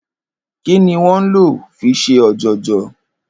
Kí ni wó̩n ń lò fi s̩e ò̩jò̩jò̩?